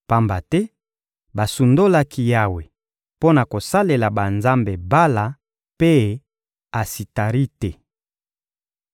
pamba te basundolaki Yawe mpo na kosalela banzambe Bala mpe Asitarite.